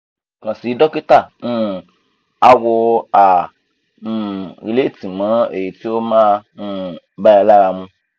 kan si dokita um awo um mọ eyi ti o ma um ba ẹ lara mu